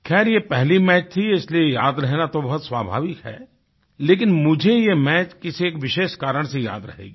खैर ये पहला मैच था इसलिए याद रहना तो बहुत स्वाभाविक है लेकिन मुझे ये मैच किसी एक विशेष कारण से याद रहेगा